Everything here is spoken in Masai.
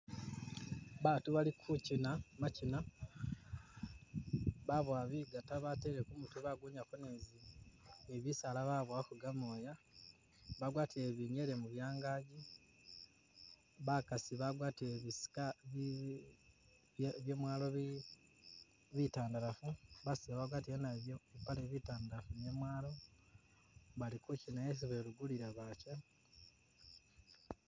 Baatu bali kukyina makyina babowa bigata batele kumutwe bagunyako nizi-nibisaala babowako gamoya bagwatile binyele mubyangaji bakasi bagwatile bisika byamwalo bi-bitandalafu baseza bagwatile nabo bitantalafu byamwalo bali kukyina yesi babugulila bakye